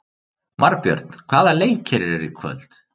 Marbjörn, hvaða leikir eru í kvöld?